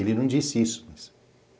Ele não disse isso.